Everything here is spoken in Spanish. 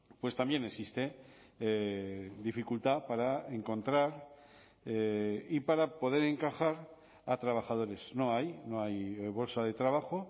pues también existe dificultad para encontrar y para poder encajar a trabajadores no hay no hay bolsa de trabajo